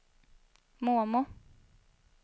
mormor